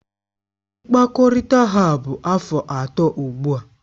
Mkpakọrịta ha bụ afọ atọ ugbu a